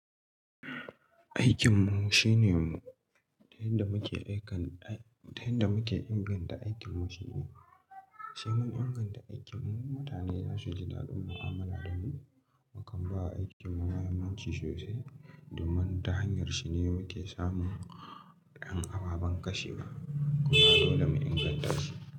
Aikin mu shine mu ta yan da muke inganta aikin mu shine, sai mun inganta aikin mu mutane za su ji dadin mu amala da mu, makan bawa aikin mu mahimmanci sosai domin ta hanyar shi ne muke samun ƴan ababan ƙashe wa. Kuma dole mu inganta shi.